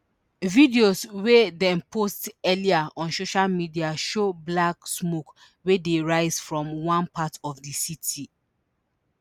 videos wey dem post earlier on social media show black smoke wey dey rise from one part of di city